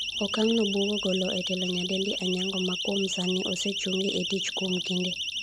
okang'no buogo golo e telo nyadendi Anyango ma kuom sani osechungi e tich kuom kinde